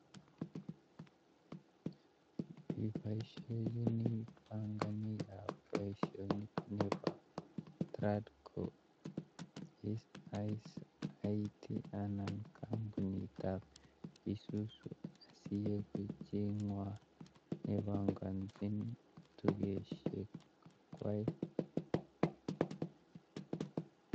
Iboishechini panganikab Tradco isaisaitai ano kampunitab isuzu asieku chingwai nepangani tugeshek kwai